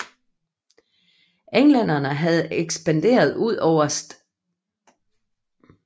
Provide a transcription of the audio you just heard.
Englænderne havde ekspanderet ud over St